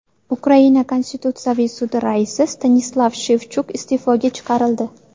Ukraina Konstitutsiyaviy sudi raisi Stanislav Shevchuk iste’foga chiqarildi.